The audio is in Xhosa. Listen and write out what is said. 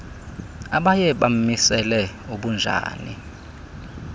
abaye bamisele ubunjani